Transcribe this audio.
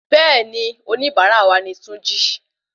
Béèni onibara wa ni túnjí